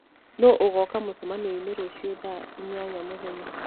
nũ ũgooka mũcemanio-inĩ rũciũ thaa inya mũthenya